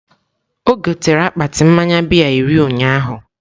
O gotere akpati mmaya bịya iri ụnyaahụ